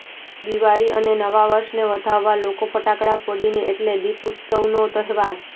દીવાળી અને નવા વર્ષને વધાવવા લોકો ફટાકડા ફોડીને એટલે દીપઉત્સવનો તહેવાર